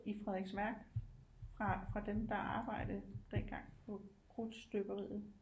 I Frederiksværk fra dem der arbejdede dengang på krudtstøberiet